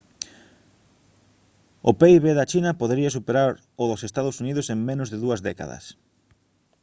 o pib da china podería superar o dos ee uu en menos de dúas décadas